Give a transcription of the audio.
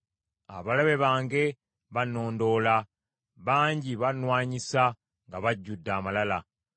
Abalabe bange bannondoola, bangi bannwanyisa nga bajjudde amalala.